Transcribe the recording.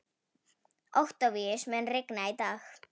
Októvíus, mun rigna í dag?